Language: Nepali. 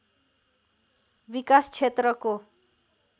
विकास क्षेत्रको